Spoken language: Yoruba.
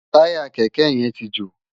Tàyá kèkè yèn ti jó